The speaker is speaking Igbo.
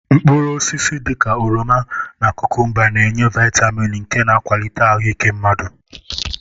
Mkpụrụosisi dị ka oroma na kụkụmba na-enye vịtamịn nke na-akwalite ahụ ike mmadụ.